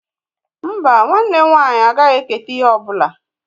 Mbá, nwanne m nwaanyị agaghị eketa ihe ọ bụla.